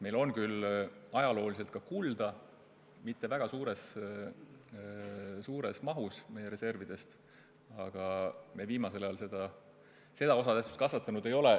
Ajalooliselt on meil ka kulda – mitte väga suures mahus reservidest –, aga viimasel ajal me selle osatähtsust kasvatanud ei ole.